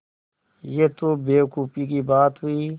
यह तो बेवकूफ़ी की बात हुई